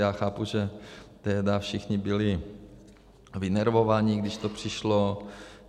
Já chápu, že tehdy všichni byli vynervovaní, když to přišlo.